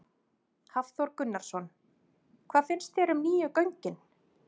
Hafþór Gunnarsson: Hvað finnst þér um nýju göngin?